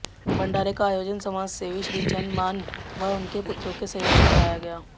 भंडारे का आयोजन समाजसेवी श्रीचंद मान व उनके पुत्रों के सहयोग से कराया गया